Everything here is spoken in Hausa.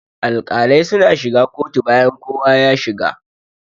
Alƙalai suna shiga kotu bayan kowa ya shiga.